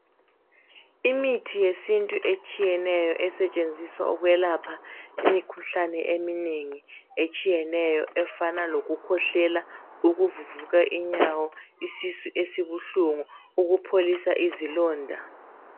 Imithi yesintu etshiyeneyo esetshenziswa ukwelapha imikhuhlane eminengi etshiyeneyo efana lokukhwehlela ukuvuvuka inyawo, isisu esibuhlungu, ukupholisa izilonda.